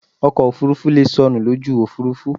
Ọkọ̀ òfurufú leè sọnù lójú òfúrufú